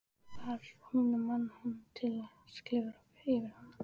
Var hún að mana hann til að klifra yfir hana?